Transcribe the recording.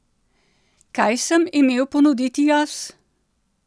Kaj sem imel ponuditi jaz?